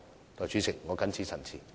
代理主席，我謹此陳辭。